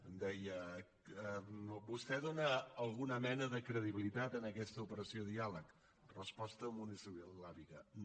em deia vostè dona alguna mena de credibilitat a aquesta operació diàleg resposta monosil·làbica no